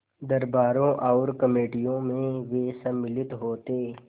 दरबारों और कमेटियों में वे सम्मिलित होते